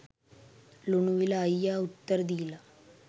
ලුණුවිල අයියා උත්තර දීලා.